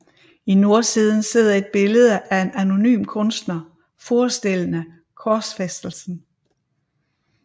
I nordsiden sidder et billede af en anonym kunstner forestillende korsfæstelsen